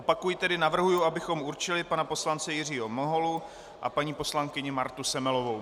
Opakuji tedy, navrhuji, abychom určili pana poslance Jiřího Miholu a paní poslankyni Martu Semelovou.